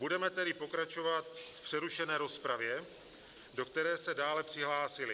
Budeme tedy pokračovat v přerušené rozpravě, do které se dále přihlásili...